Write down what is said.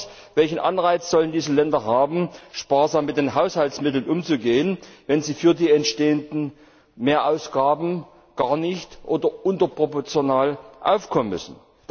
Oder anders Welchen Anreiz sollen diese Länder haben, sparsam mit den Haushaltsmitteln umzugehen, wenn sie für die entstehenden Mehrausgaben gar nicht oder unterproportional aufkommen müssen?